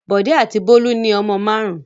Bọ̀dé àti Bólú ní ọmọ márùn-ún.